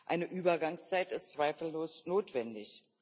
Eine Übergangszeit ist zweifellos notwendig.